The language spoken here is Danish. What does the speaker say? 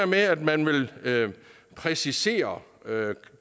med at man vil præcisere